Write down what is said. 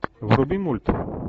вруби мульт